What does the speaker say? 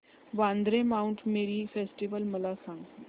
Vandre Mount Mary festival मला सांग